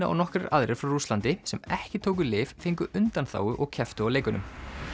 og nokkrir aðrir frá Rússlandi sem ekki tóku lyf fengu undanþágu og kepptu á leikunum